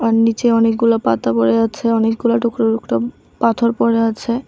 আর নিচে অনেকগুলো পাতা পড়ে আছে অনেকগুলো টুকরো টুকরো পাথর পড়ে আছে।